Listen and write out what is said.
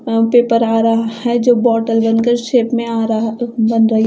यहां पे पर आ रहा है जो बॉटल बन कर शेप में आ रहा बन रही।